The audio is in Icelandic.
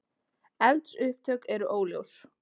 Eldsupptök eru óljós